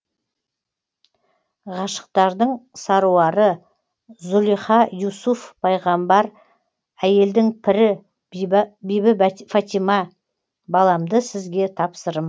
ғашықтардың саруары зұлиха юсуф пайғамбар әйелдің пірі бибі фатима баламды сізге тапсырым